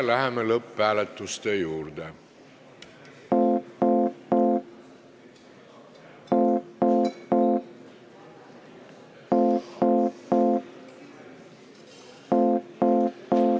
Läheme lõpphääletuse juurde.